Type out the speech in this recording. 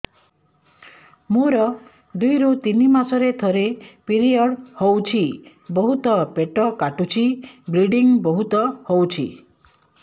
ମୋର ଦୁଇରୁ ତିନି ମାସରେ ଥରେ ପିରିଅଡ଼ ହଉଛି ବହୁତ ପେଟ କାଟୁଛି ବ୍ଲିଡ଼ିଙ୍ଗ ବହୁତ ହଉଛି